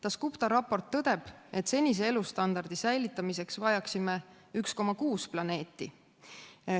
Dasgupta raport tõdeb, et senise elustandardi säilitamiseks vajaksime 1,6 planeeti.